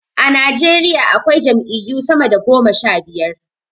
A Nijeriya akwai jam'iyyu sama da goma sha biyar.